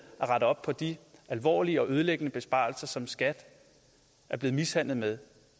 at rette op på de alvorlige og ødelæggende besparelser som skat er blevet mishandlet med